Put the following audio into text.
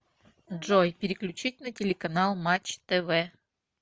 джой переключить на телеканал матч тв